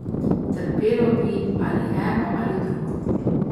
Trpelo bi ali eno ali drugo.